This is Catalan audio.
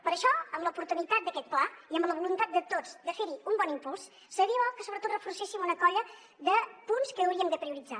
per això amb l’oportunitat d’aquest pla i amb la voluntat de tots de fer hi un bon impuls seria bo que sobretot reforcéssim una colla de punts que hauríem de prioritzar